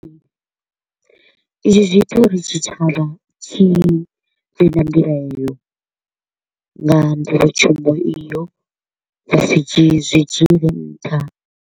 Izwi zwi ita uri tshitshavha tshi vhe na mbilaelo nga nḓowetshumo iyo, ya sa dzhii zwi dzule nṱha.